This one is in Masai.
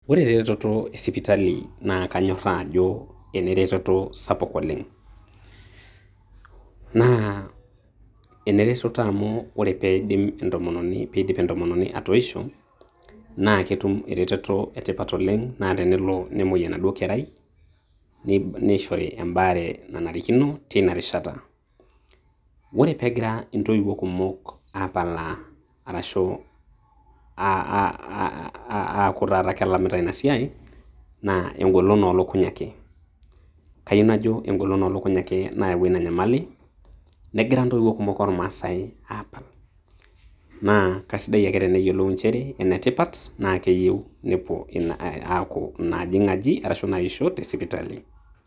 Ore ereteto e sipitali na kanyorraa ajo eneretoto sapuk oleng'. Na enereteto amu ore peidip entomononi atoisho, na ketum ereteto etipat oleng'. Na tenelo nemoi enaduo kerai, neishori ebaare nanarikino teinarishata. Ore pegira intoiwuo kumok apalaa arashu ah aaku taata kelamita inasiai, na egolon olokuny ake. Kayieu najo egolon olokuny ake nayawua inanyamali, negira intoiwuo kumok ormaasai aapal. Na kasidai ake teneyiolou njere, enetipat na keyieu nepuo aaku inaajing' aji ashu inaisho te sipitali.